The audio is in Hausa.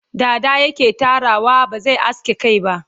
dada yake Tarawa ba zai aske Kai ba